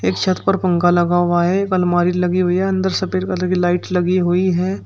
छत पर पंखा लगा हुआ है एक अलमारी लगी हुई है अंदर सफेद कलर की लाइट लगी हुई है।